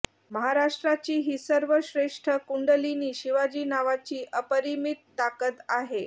महाराष्ट्राची हि सर्व श्रेष्ठ कुंडलिनी शिवाजी नावाची अपरिमित ताकद आहे